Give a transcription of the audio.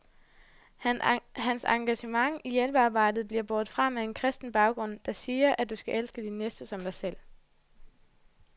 Hans engagement i hjælpearbejdet bliver båret frem af en kristen baggrund, der siger, at du skal elske din næste som dig selv.